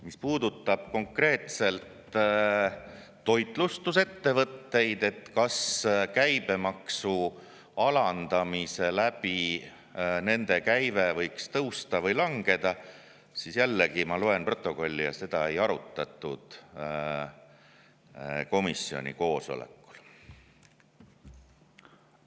Mis puudutab konkreetselt toitlustusettevõtteid, et kas käibemaksu alandamise tõttu nende käive võiks tõusta või langeda, siis jällegi ma loen protokolli ja näen, et seda komisjoni koosolekul ei arutatud.